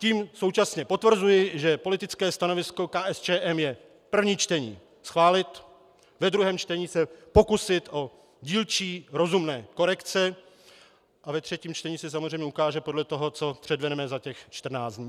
Tím současně potvrzuji, že politické stanovisko KSČM je - první čtení schválit, ve druhém čtení se pokusit o dílčí rozumné korekce a ve třetím čtení se samozřejmě ukáže podle toho, co předvedeme za těch 14 dní.